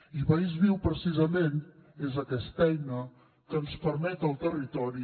i país viu precisament és aquesta eina que ens permet al territori